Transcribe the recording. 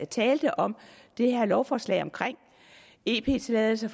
talte om det her lovforslag omkring ep tilladelser